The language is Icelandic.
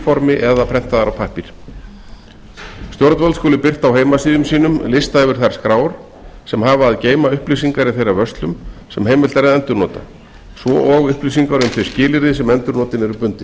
formi eða prentaðar á pappír stjórnvöld skulu birta á heimasíðum sínum lista yfir þær skrár sem hafa að geyma upplýsingar í þeirra vörslum sem heimilt er að endurnota svo og upplýsingar um þau skilyrði sem endurnotin eru bundin